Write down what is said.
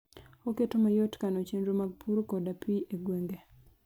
oketo mayot kano chenro mag pur koda pi e gwenge